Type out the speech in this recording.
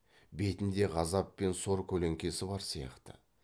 бетінде ғазап пен сор көлеңкесі бар сияқты